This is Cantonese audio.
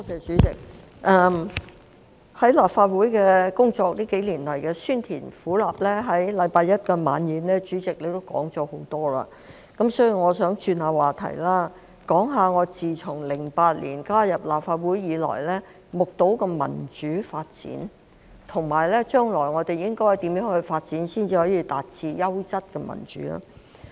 主席，近幾年來在立法會工作的酸甜苦辣，在星期一的惜別晚宴上主席也提到了很多，所以我想轉換話題，談談我自2008年加入立法會後目睹的民主發展，以及我們將來應該如何發展才可以達致優質民主。